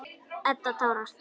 Edda tárast.